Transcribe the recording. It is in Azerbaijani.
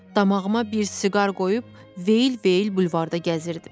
Damağıma bir siqar qoyub veyl-veyl bulvarda gəzirdim.